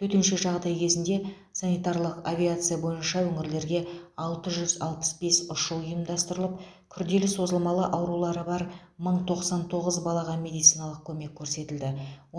төтенше жағдай кезінде санитарлық авиация бойынша өңірлерге алты жүз алпыс бес ұшу ұйымдастырылып күрделі созылмалы аурулары бар мың тоқсан тоғыз балаға медициналық көмек көрсетілді